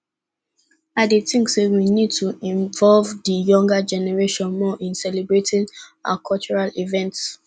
i dey think say we need to involve di younger generation more in celebrating our cultural events